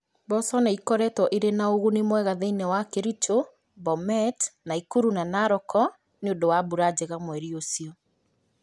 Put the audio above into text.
Mboco ni͂ ikoretwo i͂ri͂ na u͂guni mwega thi͂ini͂ wa Kericho, Bomet, Nakuru na Narok ni͂ u͂ndu͂ wa mbura njega mweri u͂cio.